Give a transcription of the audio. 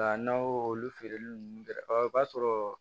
Nka n'aw olu feereli ninnu kɛ ɔ o b'a sɔrɔ